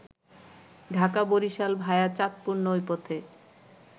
Dhaka-Barishal ভায়া Chandpur নৌপথে